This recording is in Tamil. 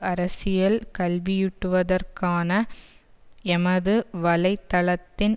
அரசியல் கல்வியூட்டுவதற்கான எமது வலை தளத்தின்